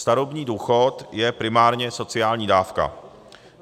Starobní důchod je primárně sociální dávka.